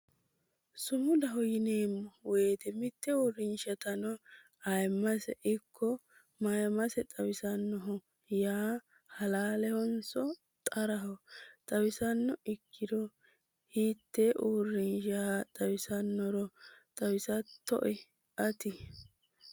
sumudaho yineemmo wote mitte uurrinshatano ayiimmase ikko mayiimmase xawisannoho yaa halaalehonso xaraho? xawisanno ikkiro hiitte uurrinsha xawisannohoro xawisattoe ati ?